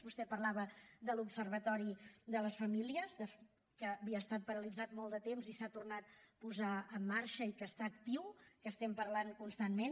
vostè parlava de l’observatori de la família que havia estat paralitzat molt de temps i s’ha tornat a posar en marxa i que està actiu que en parlem constantment